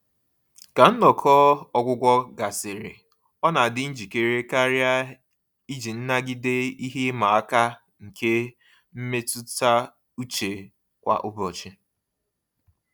Ka nnọkọ ọgwụgwọ gasịrị, ọ na adị njikere karịa iji nagide ihe ịma aka nke mmetuta uche kwa ụbọchị.